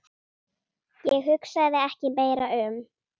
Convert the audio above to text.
Ég hugsaði ekki meira um